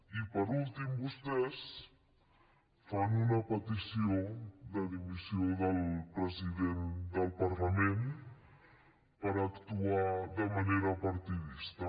i per últim vostès fan una petició de dimissió del president del parlament per actuar de manera partidista